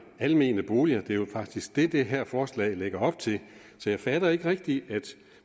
almene boliger det er jo faktisk det som det her forslag lægger op til så jeg fatter ikke rigtig at